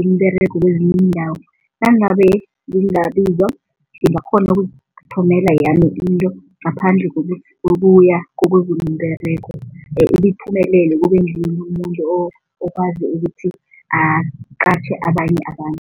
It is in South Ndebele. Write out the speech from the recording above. imiberego kwezinye iindawo. Nangabe ngingabizwa, ngingakghona ukuzithomela yami into ngaphandle kokuya kokuzuma umberego umuntu okwazi ukuthi aqatjhe abanye abantu.